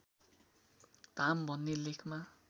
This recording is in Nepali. धाम भन्ने लेखमा